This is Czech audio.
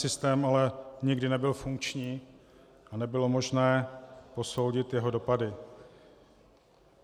Systém ale nikdy nebyl funkční a nebylo možné posoudit jeho dopady.